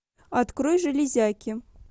открой железяки